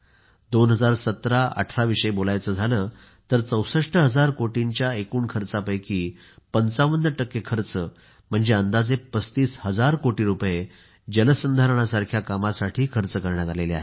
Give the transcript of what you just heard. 201718 विषयी बोलायचे झाले तर 64 हजार कोटींच्या एकूण खर्चापैकी 55 खर्च म्हणजे अंदाजे 35 हजार कोटी रुपये जलसंधारण सारख्या कामासाठी खर्च करण्यात आले आहेत